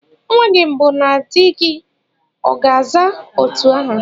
Nwa gị mbụ na di gị ọ̀ ga-àzá otu aha?